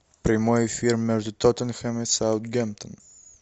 прямой эфир между тоттенхэм и саутгемптон